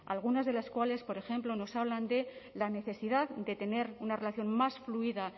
algunas de las cuales por ejemplo nos hablan de la necesidad de tener una relación más fluida